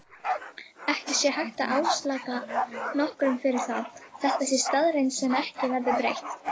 Ekki sé hægt að álasa nokkrum fyrir það, þetta sé staðreynd sem ekki verði breytt.